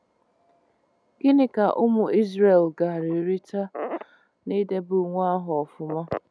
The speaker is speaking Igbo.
Gịnị ka ụmụ Izrel gaara erite n'idebe Iwu ahụ ọfụma?